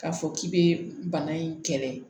K'a fɔ k'i bɛ bana in kɛlɛ